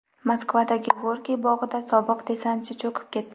Moskvadagi Gorkiy bog‘ida sobiq desantchi cho‘kib ketdi.